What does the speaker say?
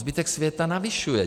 Zbytek světa navyšuje.